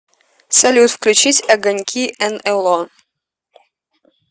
салют включить огоньки энэло